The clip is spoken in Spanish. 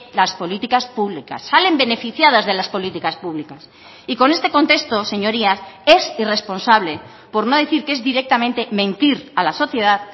las políticas públicas salen beneficiadas de las políticas públicas y con este contexto señorías es irresponsable por no decir que es directamente mentir a la sociedad